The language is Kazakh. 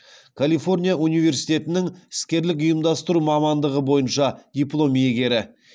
калифорния университетінің іскерлік ұйымдастыру мамандығы бойынша диплом иегері